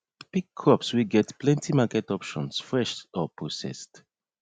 pick crops wey get plenty market options fresh or processed